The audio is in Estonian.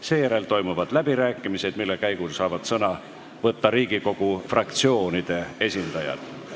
Seejärel toimuvad läbirääkimised, mille käigus saavad sõna võtta Riigikogu fraktsioonide esindajad.